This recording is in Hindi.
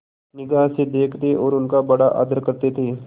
निगाह से देखते और उनका बड़ा आदर करते थे